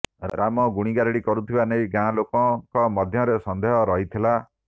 ରାମ ଗୁଣି ଗାରେଡି କରୁଥିବା ନେଇ ଗାଁ ଲୋକଙ୍କ ମଧ୍ୟରେ ସନ୍ଦେହ ରହିଥିଲା